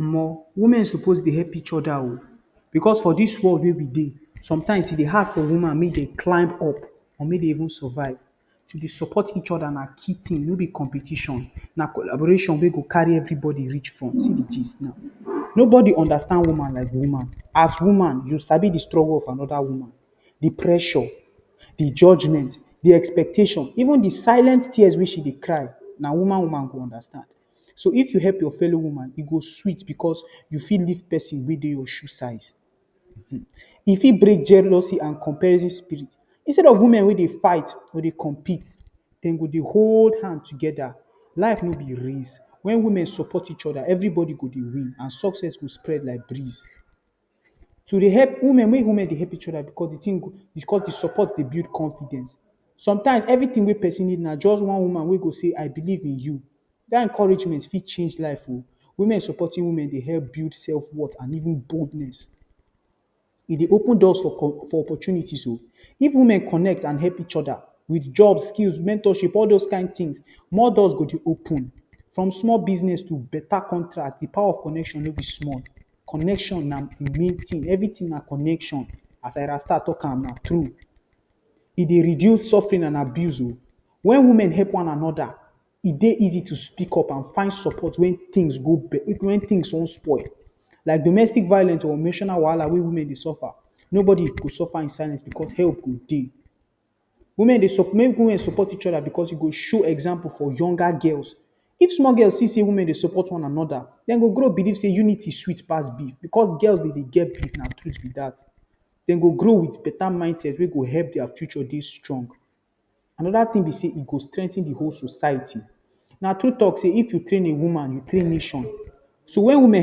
Omo! Women suppose dey help each other oh! Because for dis world wey we dey, sometimes e dey hard for woman make dem climb up or make dem even survive. To dey support each other na key thing — no be competition. Na collaboration wey go carry everybody reach front. See the gist now. Nobody understand woman like woman. As woman, you go sabi the struggle of another woman — the pressure, the judgment, expectations, even the silent tears wey she dey cry. Na only woman go understand. So if you help your fellow woman, e go sweet because you fit meet pesin wey dey your shoe size. Um! E fit break jealousy and comparison spirit. Instead of women wey dey fight or dey compete, dem go dey hold hand together. Life no be race. When women support each other, everybody go dey win and success go spread like breeze. To dey help women — make women dey help each other — because the support dey build confidence. Sometimes everything wey pesin need na just one woman wey go say, “I believe in you.” That encouragement fit change life oh! Women supporting women dey help build self-worth and even boldness. E dey open doors for opportunities. If women connect and help each other with job, skills, mentorship — all those kin things — more doors go dey open. From small business to better contract, the power of connection no be small. Connection na the main thing. Everything na connection. As ArysTa talk am, na true. E dey reduce suffering and abuse oh! When women help one another, e dey easy to speak up and find support when things wan spoil — like domestic violence or national wahala wey women dey suffer. Nobody go suffer in silence because help go dey. Women dey, make women support each other because e go show example for younger girls. If small girls dey see say women dey support one another, dem go grow believe say unity sweet pass beef. Because girls dey get beef — na true be that. Dem go grow with better mindset wey go help their future dey strong. Another thing be say, e go strengthen the whole society. Na true talk say “if you train a woman, you train nation.” So when women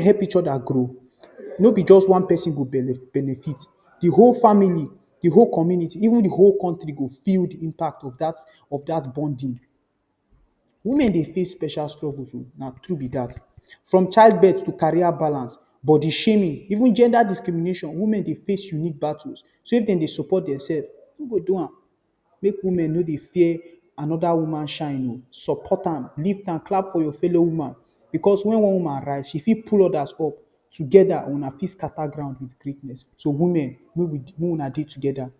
help each other grow, no be just one pesin go benefit — the whole family, the whole community, even the whole country go feel the impact of that bonding. Women dey face special struggles oh, na true be that — from childbirth to career balance, body shaming, even gender discrimination. Women dey face real battles. So if dem no support dem self, who go do am? Make woman no dey fear another woman shine oh! Support am, live and clap for your fellow woman — because when one woman rise, she fit pull others up. Together, una fit scatter ground with greatness. So women — make una dey together.